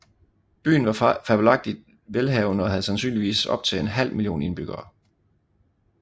Byen var fabelagtig velhavende og havde sandsynligvis op til en halv million indbyggere